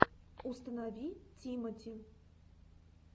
установи тимати